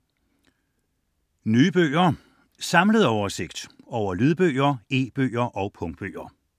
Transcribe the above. Nye bøger: Samlet oversigt over lydbøger, e-bøger og punktbøger